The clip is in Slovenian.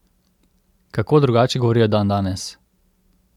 Kako drugače govorijo dandanes?